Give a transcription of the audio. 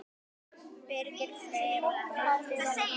Birgir Freyr og Baldvin Helgi.